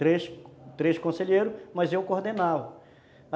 Três conselheiros, mas eu coordenava.